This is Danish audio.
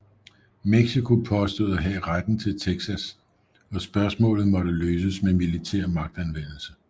Mexico påstod at have retten til Texas og spørgsmålet måtte løses med militær magtanvendelse